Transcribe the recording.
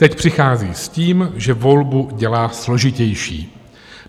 Teď přichází s tím, že volbu dělá složitější.